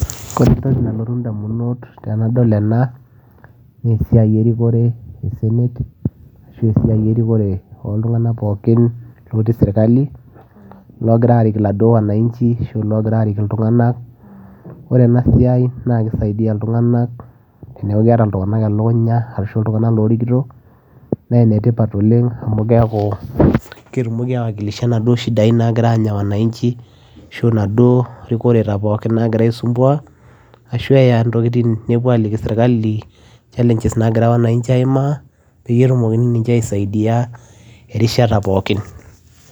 Kore entoki nalotu indamunot tenadol ena naa esiai erikore e senate asu esiai erikore oltung'anak pookin lootii sirkali loogira aarik iladuo wananchi asu iloogira aarik iltung'anak, ore ena siai naa kisaidia iltung'anak oleng' teneeku keeta iltung'anak elukunya arashu iltung'anak loorikito naa enetipat oleng' amu keeku ketumoki aiwakilisha inaduo shidai naagira aanya wananchi ashu inaduo rikoreta pookin naagira aisumbuaa ashu eya ntokitin nepuo aaliki sirkali challenges naagira wananchi aimaa peyie etumokini ninche aisaidia erishata pookin.